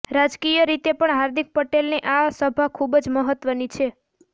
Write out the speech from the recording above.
રાજકીય રીતે પણ હાર્દિક પટેલની આ સભા ખૂબ જ મહત્વની છે